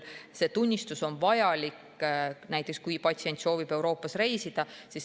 See tunnistus on vajalik näiteks siis, kui patsient soovib Euroopas reisida.